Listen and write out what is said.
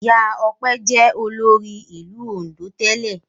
Ìyá Ọpẹ́ jẹ́ olórí ìlú Oǹdó tẹ́lẹ̀.